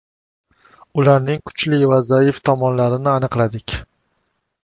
Ularning kuchli va zaif tomonlarini aniqladik.